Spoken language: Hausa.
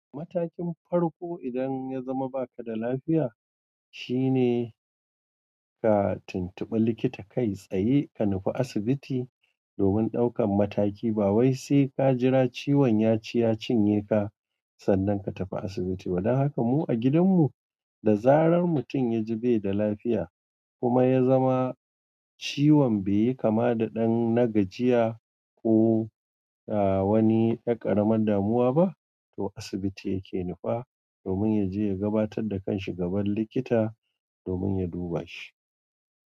Matakin farko idan ya zama ba ka da lafiya, shine ka tuntuɓi likita kai tsaye ka nufa asibiti domin ɗaukan mataki. Ba wai sai ka jira ciwon ya ci ya cinye ka sannan ka tafi asibiti. Toh dan haka mu a gidanmu, da zarar mutum ya ji bai da lafiya kuma ya zama ciwon bai yi kama da ɗan nagajiya ko wani ɗan ƙaramin damuwa ba, to asibiti yake nufa domin ya je ya gabatar da kanshi gaban likita domin ya duba shi.